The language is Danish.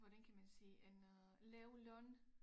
Hvordan kan man sige en øh lav løn